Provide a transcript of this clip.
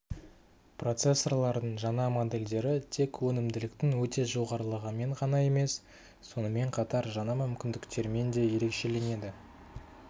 процессорлардың жаңа модельдері тек өнімділіктің өте жоғарылығымен ғана емес сонымен қатар жаңа мүмкіндіктерімен де ерекшелінеді